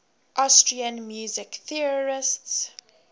austrian music theorists